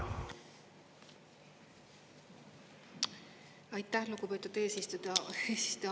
Aitäh, lugupeetud eesistuja!